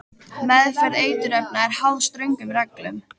Meðferð eiturefna er háð ströngum reglum.